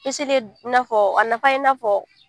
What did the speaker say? I na fɔ, a na fa i na fɔ.